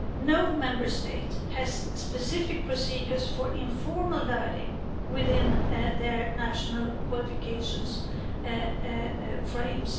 No Member State has specific procedures for informal learning within their national qualifications frames.